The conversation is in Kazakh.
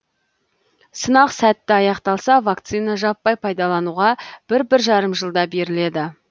сынақ сәтті аяқталса вакцина жаппай пайдалануға бір бір жарым жылда беріледі